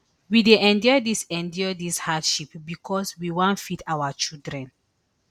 we dey endure dis endure dis hardship becos we wan feed our children